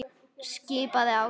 skipaði Ási.